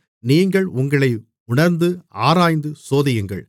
நீங்கள் உங்களை உணர்ந்து ஆராய்ந்து சோதியுங்கள்